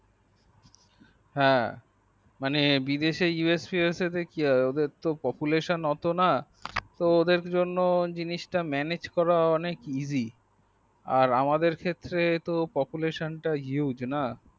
হ্যাঁ বিদেশে usfues ওদের জন্য জিনিস টা পপুলেশনএত নাওদের জন্য জিনস টা ম্যানেজ করা উচিত আর আমাদের ক্ষেত্রে তো population টা hugue